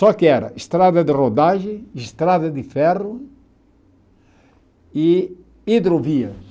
Só que era estrada de rodagem, estrada de ferro e hidrovias.